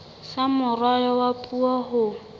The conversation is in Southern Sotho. sa moralo wa puo ho